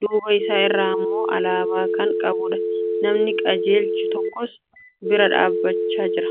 duuba isaa irraa immoo alaabaa kan qabudha. Namni qajeelchu tokkos bira dhaabachaa jira.